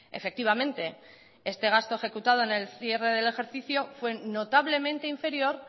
efectivamente este gasto ejecutado en cierre del ejercicio fue notablemente inferior